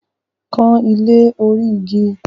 Kan ilé orí igi!